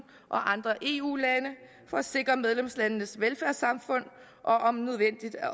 og andre eu lande for at sikre medlemslandenes velfærdssamfund og om nødvendigt